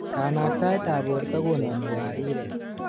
kanaktaetab borto konami wariret